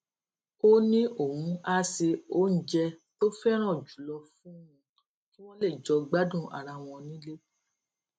ó ní òun á se oúnjẹ tó féràn jù lọ fún un kí wón lè jọ gbádùn ara wọn nílé